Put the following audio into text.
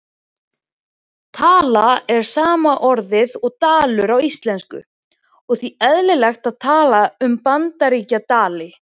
Tal er sama orðið og dalur á íslensku og því eðlilegt að tala um Bandaríkjadali.